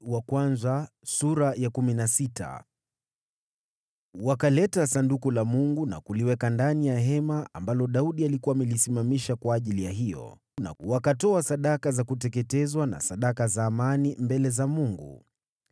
Wakaleta Sanduku la Mungu na kuliweka ndani ya hema ambalo Daudi alikuwa amelisimamisha kwa ajili yake, na wakatoa sadaka za kuteketezwa na sadaka za amani mbele za Mungu.